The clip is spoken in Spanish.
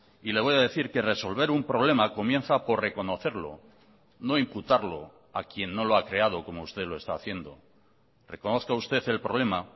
y le voy a decir que resolver un problema comienza por reconocerlo no imputarlo a quien no lo ha creado como usted lo está haciendo reconozca usted el problema